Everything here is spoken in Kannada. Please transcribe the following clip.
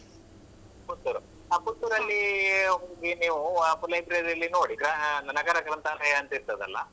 ಪುತ್ತೂರು. ಹಾ ಪುತ್ತೂರಲ್ಲಿ ಹೋಗಿ ನೀವು ಆ library ಯಲ್ಲಿ ನೋಡಿ ನಗರ ಗ್ರಂಥಾಲಯ ಅಂತ ಇರ್ತದಲ್ಲ.